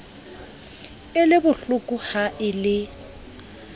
e le bohlokoha e le